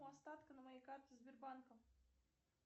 остатка на моей карте сбербанка